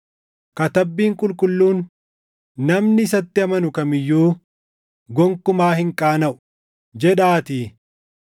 Katabbiin Qulqulluun, “Namni isatti amanu kam iyyuu gonkumaa hin qaanaʼu” + 10:11 \+xt Isa 28:16\+xt* jedhaatii.